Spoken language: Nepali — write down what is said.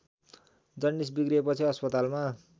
जन्डिस बिग्रिएपछि अस्पतालमा